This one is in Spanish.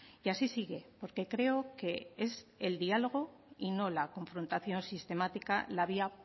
y así sigue porque creo que es el diálogo y no la confrontación sistemática la vía